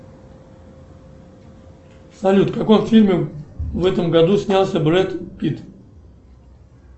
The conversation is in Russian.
салют в каком фильме в этом году снялся брэд питт